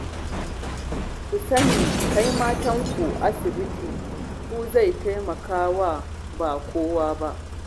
Ku sani, kai matanku asibiti ku zai taimaka wa ba kowa ba